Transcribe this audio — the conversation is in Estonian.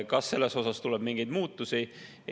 Kas selles osas tuleb mingeid muutusi?